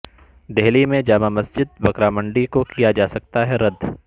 دہلی میں جامع مسجد بکرا منڈی کو کیا جاسکتا ہے رد